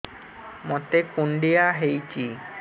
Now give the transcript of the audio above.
ମୋତେ କୁଣ୍ଡିଆ ହେଇଚି